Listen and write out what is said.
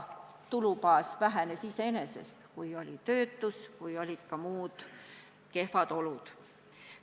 Tulubaas vähenes ju iseenesest, kui oli töötus, kui olid üldse kehvad olud.